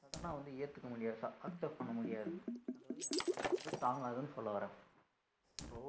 sudden அ வந்து ஏத்துக்க முடியாது. accept பண்ண முடியாது அதாவது என் உடம்பு வந்து தாங்காதுன்னு சொல்ல வர்றேன் இப்போ